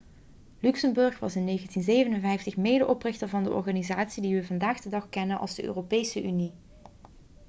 luxemburg was in 1957 medeoprichter van de organisatie die we vandaag de dag kennen als de europese unie